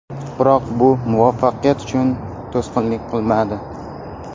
Biroq bu muvaffaqiyat uchun to‘sqinlik qilmadi.